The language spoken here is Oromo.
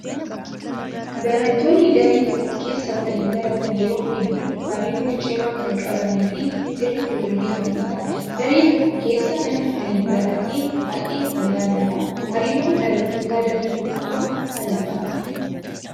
Barattoonni daree tokko keessa waliin baratan yeroo hedduu hariiroo cimaa kan qabanii fi sirriitti wal beekanidha. Daree tokko keessa namni waliin barate baay'ee wal yaadata. Hariiroon barattoota daree tokkoo maalidhaa?